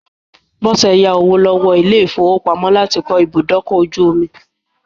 Bọ́sẹ̀ yá owó lọ́wọ́ ilé-ìfowópamọ́ láti kọ́ ibùdókọ̀-ojú-omi.